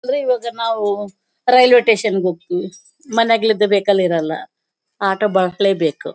ಅಂದ್ರೆ ಇವಾಗ ನಾವು ರೈಲ್ವೆ ಸ್ಟೇಷನ್ ಗೆ ಹೋಗ್ತಿವಿ ಮನೇಲಿದ್ದಾಸ್ ವೆಹಿಕಲ್ ಇರಲ್ಲ ಆಟೋ ಬರಲೇಬೇಕು.